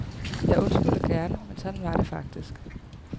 Jeg undskylder gerne, men sådan var det faktisk.